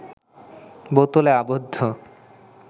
বোতলে আবদ্ধ